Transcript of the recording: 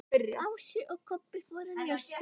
Ási og Kobbi fóru að njósna.